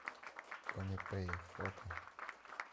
комепэй фото